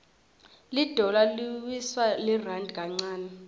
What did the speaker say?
lidollar liwtsa lirandi kancane